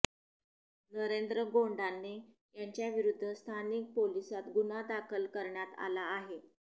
नरेंद्र गोंडाने याच्याविरुद्ध स्थानिक पोलीसात गुन्हा दाखल करण्यात आला आहे